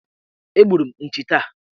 Egburu m nchi taa.